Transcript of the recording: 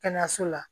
Kɛnɛyaso la